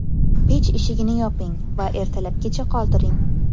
Pech eshigini yoping va ertalabgacha qoldiring.